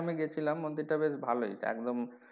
আমি গেছিলাম মন্দির টা বেশ ভালোই একদম,